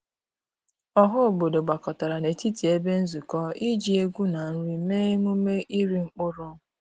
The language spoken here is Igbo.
Ọha obodo gbakọtara n’etiti ebe nzukọ iji egwu na nri mee emume iri mkpụrụ.